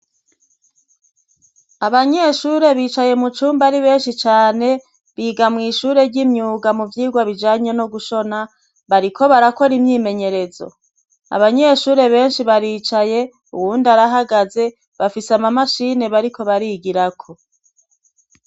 Abanyeshure bicaye mu cumba ari benshi cane biga mw'ishure ry'imyuga mu vyirwa bijanye no gushona bariko barakora imyimenyerezo abanyeshure benshi baricaye uwundi arahagaze bafise ama mashini bariko barigirako.